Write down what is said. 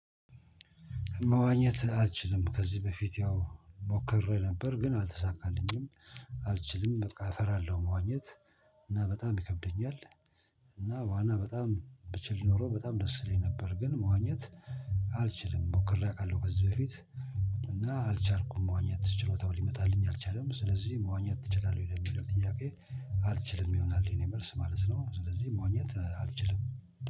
መዋኘት አልችልም ከዚህ በፊት ያው ሞከሬ ነበር ግን አልተሳካልኝም አልችልም በቃ እፈራለሁ መዋኘት እና በጣም ይከብደኛል። እና ዋና በጣም ብችል ኖሮ በጣም ደስ ይለኝ ነበር። ግን መዋኘት አልችልም ሞክሬ አውቃለሁ ከዚህ በፊት። እና አልቻልኩም መዋኘት ትችላለህ ሊመጣልኝ አልቻለም ስለዚህ መዋኘት ትችላለህ ወይ ለሚለው ጥያቄ? አልችልም ይሆናል የኔ መልስ ማለት ነው። ስለዚህ መዋኘት አልችልም